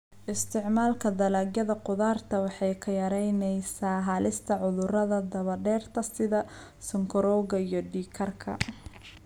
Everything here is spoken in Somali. Isticmaalka dalagyada khudaarta waxay yaraynaysaa halista cudurrada daba dheeraada sida sonkorowga iyo dhiig karka.